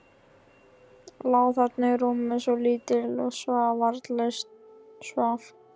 Lá þarna í rúminu, svo lítill, svo varnarlaus, svaf.